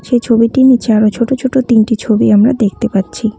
এই ছবিটির নীচে আরও ছোটো ছোটো তিনটি ছবি আমরা দেখতে পাচ্ছি।